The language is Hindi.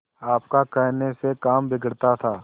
आपका कहने से काम बिगड़ता था